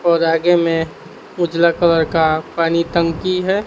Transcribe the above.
और आगे में उजला कलर का पानी टंकी है।